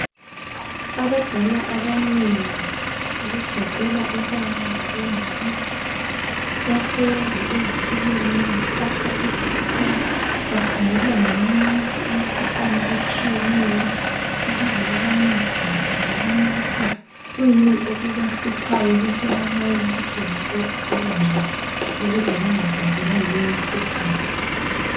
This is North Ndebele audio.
Abadala abanengi okugoqela obaba labo mama bahlezi ezitulweni bathathwa i B.P bakhangelwa ngamanesi imkhuhlane etshiyeneyo ukuze babancedise babone ukuthi kwiyini okubahluphayo besebalayela ukuthi bengancediseka njani ukuze bangahlaselwa yileyo mkhuhlane.